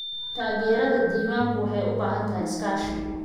Taageerada diiwaanku waxay u baahan tahay iskaashi.